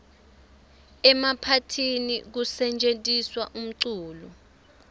emaphathini kusetjentiswa umculo